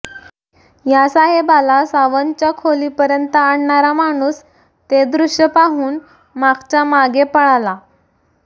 या साहेबाला सावंतच्या खोलीपर्यंत आणणारा माणूस ते दृष्य पाहून मागच्यामागे पळाला